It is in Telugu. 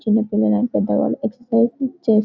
చిన్న పిల్లలు అంత ఎక్ససిర్సిస్ చేస్తున్నారు --